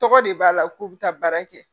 Tɔgɔ de b'a la k'u bɛ taa baara kɛ